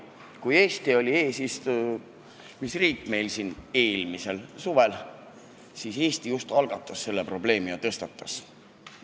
Kui Eesti oli eelmisel suvel eesistujariik, siis ta selle probleemi tõstatas.